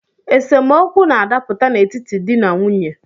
Esemeokwu na-adapụta n’etiti di na nwunye